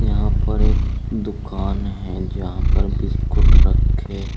यहां पर एक दुकान है जहां पर बिस्कुट रखे--